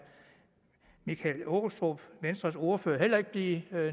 michael aastrup venstres ordfører heller ikke blive